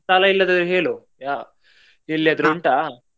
ಸ್ಥಳ ಎಲ್ಲಿಯಾದರೂ ಹೇಳು ಯ~ ಎಲ್ಲಿ ಆದ್ರೂ ಉಂಟಾ?